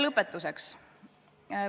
Lõpetuseks.